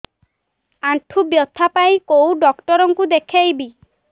ଆଣ୍ଠୁ ବ୍ୟଥା ପାଇଁ କୋଉ ଡକ୍ଟର ଙ୍କୁ ଦେଖେଇବି